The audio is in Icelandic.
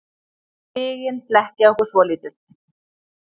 Stigin blekkja okkur svolítið.